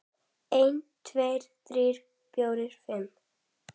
einn. tveir. þrír. fjórir. fimm.